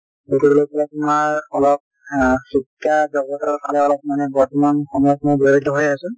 মুথৰ ওপৰত তোমাৰ অলপ অ শিক্ষা জগতৰ ফালে অলপ মানে বৰ্তমান সময়ত মই জড়িত হৈ আছো ।